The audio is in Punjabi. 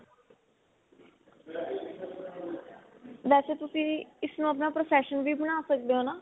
ਵੇਸੇ ਤੁਸੀਂ ਇਸ ਨੂੰ ਆਪਣਾ profession ਵੀ ਬਣਾ ਸਕਦੇ ਓ ਨਾ